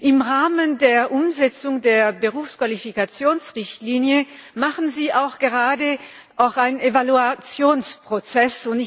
Im Rahmen der Umsetzung der Berufsqualifikationsrichtlinie machen Sie auch gerade einen Evaluationsprozess.